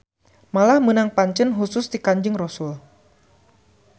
Malah menang pancen husus ti Kanjeng Rosul